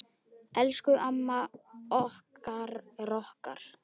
Elsku amma okkar rokk.